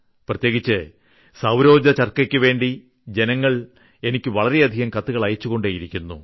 പ്രത്യേകിച്ച് സൌരോർജ്ജ ചർക്കക്കുവേണ്ടി ജനങ്ങൾ എനിക്ക് വളരെയധികം കത്തുകൾ അയച്ചുകൊണ്ടിരിക്കുന്നു